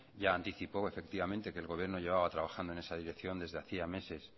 ya anticipó efectivamente que el gobierno llevaba trabajando en esta dirección desde hacía meses